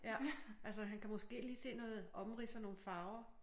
Ja altså han kan måske lige se noget omrids og nogle farver